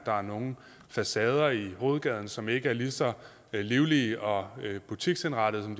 der er nogle facader i hovedgaden som ikke er lige så livlige og butiksindrettede som